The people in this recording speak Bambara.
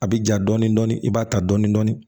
A bɛ ja dɔɔni dɔɔni i b'a ta dɔɔni dɔɔni